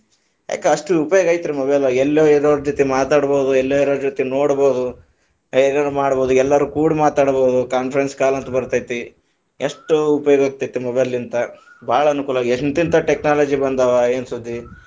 ಯಾಕ ಅಷ್ಟ ಉಪಯೋಗ ಐತರೀ mobile , ಎಲ್ಲೊ ಇರೋರ ಜ್ಯೋತಿ ಮಾತಾಡಬಹುದು, ಎಲ್ಲೊ ಇರೋರ ಜ್ಯೋತಿ ನೋಡಬಹುದು, ಮಾಡಬಹುದು ಎಲ್ಲರೂ ಕುಡ ಮಾತಾಡಬಹುದು conference call ಅಂತ ಬರತೈತಿ, ಎಷ್ಟ ಉಪಯೋಗ ಆಗತೈತಿ mobile ತ ಬಾಳ ಅನುಕೂಲವಾಗಿ ಎಂತೆಂತ technology ಬಂದಾವ ಏನ ಸುದ್ದಿ.